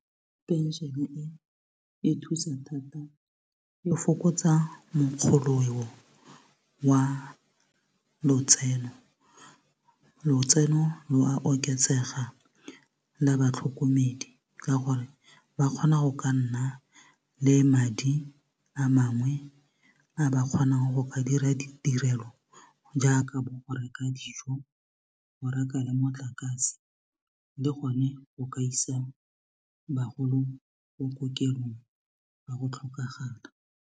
Pension-e e thusa thata e fokotsa mokgoleo wa lotseno lotseno lo a oketsega la batlhokomedi ka gore ba kgona go ka nna le madi a mangwe a ba kgonang go ka dira ditirelo jaaka bo go reka dijo go reka le motlakase le gone go ka isa bagolo ko kokelong fa go tlhokagala.